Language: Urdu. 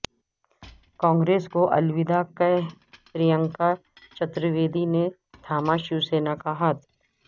کانگریس کو الوداع کہہ پرینکا چتر ویدی نے تھاما شیو سینا کا ہاتھ